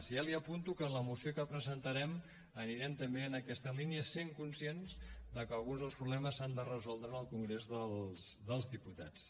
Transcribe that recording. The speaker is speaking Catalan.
ja li apunto que en la moció que presentarem anirem també en aquesta línia sent conscients de que alguns dels problemes s’han de resoldre en el congrés dels diputats